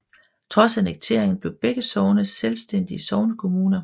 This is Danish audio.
Trods annekteringen blev begge sogne selvstændige sognekommuner